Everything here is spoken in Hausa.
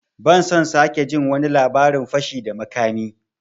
Ban son sake jin wani labarin fashi da makami!